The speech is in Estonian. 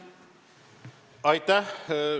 Aitäh!